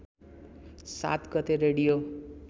७ गते रेडियो